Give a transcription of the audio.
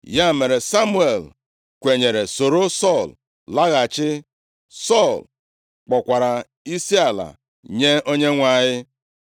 Ya mere, Samuel kwenyere soro Sọl laghachi, Sọl kpọkwara isiala nye Onyenwe anyị.